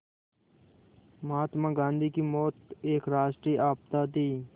महात्मा गांधी की मौत एक राष्ट्रीय आपदा थी